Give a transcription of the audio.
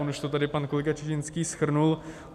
On už to tady pan kolega Čižinský shrnul.